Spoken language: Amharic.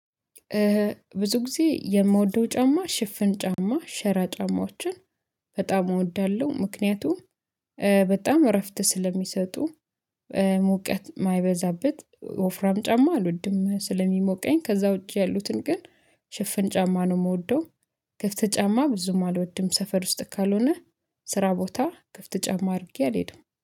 ብዙ ጊዜ የምወደው ጫማ ሽፍን ጫማ ሸራ ጫማዎችን በጣም እወዳለሁ ምክንያቱም በጣም እረፍት ስለሚሰጡ ሙቀት የማይበዛበት ወፍራም ጫማ አልወድም ስለሚሞቀኝ። ከዛ ውጪ ያሉትን ግን ሽፍን ጫማ ነው የምወደው። ክፍት ጫማ ብዙም አልወድም ሰፈር ውስጥ ካልሆነ ስራ ቦታ ክፍት ጫማ አድርጌ አልሄደም